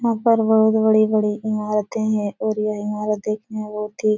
यहां पर बहोत बड़े-बड़े इमारत भी है और यह इमारत देखने बहुत ही --